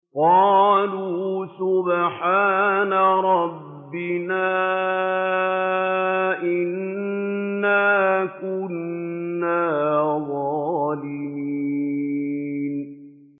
قَالُوا سُبْحَانَ رَبِّنَا إِنَّا كُنَّا ظَالِمِينَ